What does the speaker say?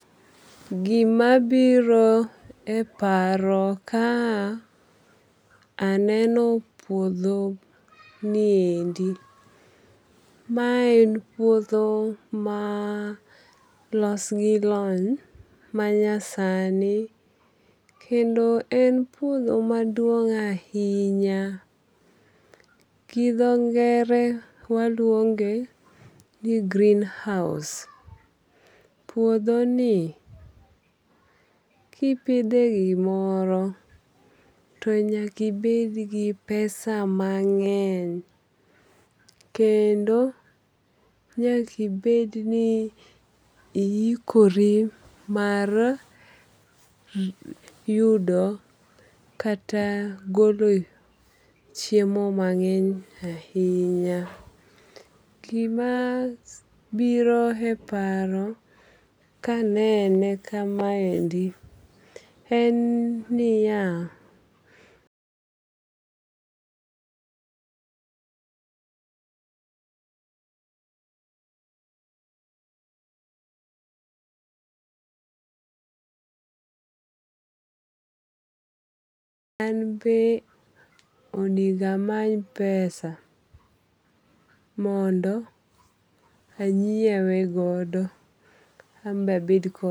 Gima biro e paro ka aneno puodho niendi. Ma en puodho ma los gi lony manyasani kendo en puodho maduong' ahinya. Gi dho ngere waluonge ni greenhouse. Puodho ni kipidhe gimoro to nyakibed gi pesa mang'eny. Kendo nyakibed ni ihikori mar yudo kata golo chiemo mang'eny ahinya. Gima biro e paro kanene kamaendi en niya an be onego amany pesa mondo anyiewe godo an be abed.